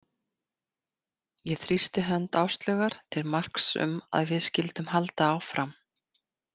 Ég þrýsti hönd Áslaugar til marks um að við skyldum halda áfram.